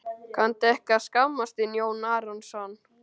Kanntu ekki að skammast þín, Jón Arason?